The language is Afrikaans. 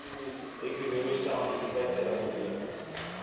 ekonomiese aktiwiteite ruimtelik